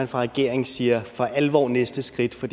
regeringen siger for alvor er næste skridt for